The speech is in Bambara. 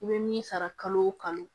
I bɛ min sara kalo o kalo